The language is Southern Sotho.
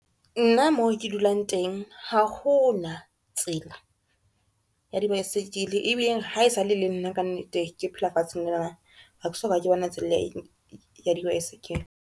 Nna mo ke dulang teng, ha ho na tsela ya dibaesekele, ebile ha esale e le nna ka nnete ke phela lefatsheng lena ha ke soka ke bona tsela ya dibaesekele.